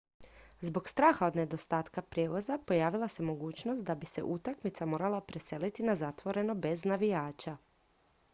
zbog straha od nedostatka prijevoza pojavila se mogućnost da bi se utakmica morala preseliti na zatvoreno bez navijača